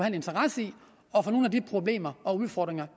en interesse i at få nogle af de problemer og udfordringer